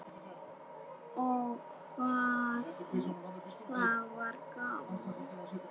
Ó, hvað það var gaman.